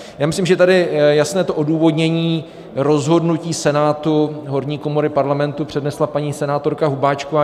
Já myslím, že tady jasné to odůvodnění rozhodnutí Senátu, horní komory Parlamentu, přednesla paní senátorka Hubáčková.